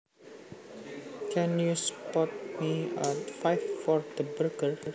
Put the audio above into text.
Can you spot me a five for the burger